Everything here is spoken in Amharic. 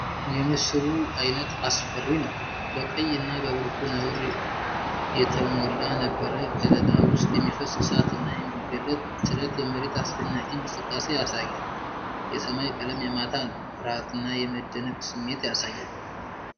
የምስሉ አየት አስፈሪ ነው። በቀይ እና በብርቱ ነውር የተሞላ የነበረ ከለላ ውስጥ የሚፈስ እሳት እና የሚገለጥ ጭረት የመሬት አስደናቂ እንቅስቃሴን ያሳያል። የሰማይ ቀለም የማታ ነው፣ የፍርሃት እና የመደነቅ ስሜት ያሳያል።